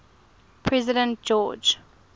president george